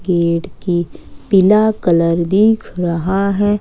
Gate की पीला colour दिख रहा है।